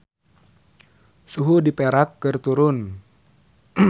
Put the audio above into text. Suhu di Perak keur turun